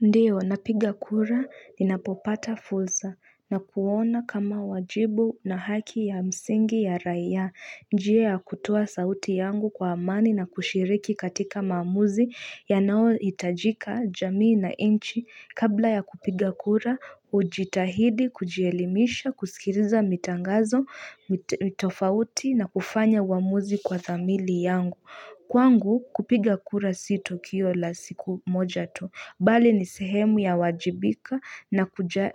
Ndiyo, napiga kura ninapopata fulsa na kuona kama wajibu na haki ya msingi ya raia. Njia ya kutoa sauti yangu kwa amani na kushiriki katika mamuzi yanao itajika jamii na inchi. Kabla ya kupiga kura, hujitahidi, kujielimisha, kusikiriza mitangazo, mitofauti na kufanya wamuzi kwa thamili yangu. Kwangu kupiga kura si tukio la siku moja tu Bali ni sehemu ya wajibika